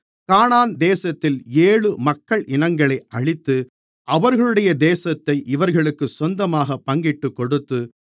கானான் தேசத்தில் ஏழு மக்கள் இனங்களை அழித்து அவர்களுடைய தேசத்தை இவர்களுக்குச் சொந்தமாகப் பங்கிட்டுக் கொடுத்து